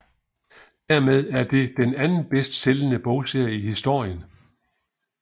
Dermed er det den anden bedst sælgende bogserie i historien